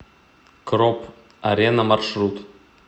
кроп арена маршрут